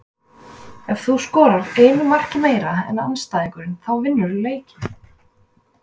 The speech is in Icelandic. En ef þú skorar einu marki meira en andstæðingurinn þá vinnurðu leikinn.